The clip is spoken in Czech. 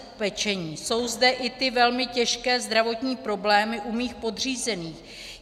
Jsou zde i ty velmi těžké zdravotní problémy u mých podřízených.